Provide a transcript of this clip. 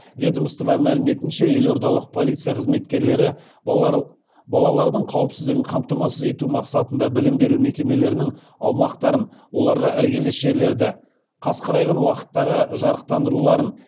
ведомство мәліметінше елордалық полиция қызметкерлері балалардың қауіпсіздігін қамтамасыз ету мақсатында білім беру мекемелерінің аумақтарын оларға іргелес жерлерді қас қарайған уақыттағы жарықтандыруларын